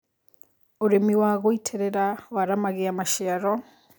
Ũrĩmĩ wa gũĩtĩrĩra waramagĩa macĩaro